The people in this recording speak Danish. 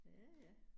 Ja ja